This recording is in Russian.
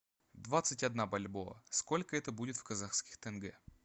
двадцать одна бальбоа сколько это будет в казахских тенге